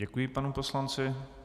Děkuji panu poslanci.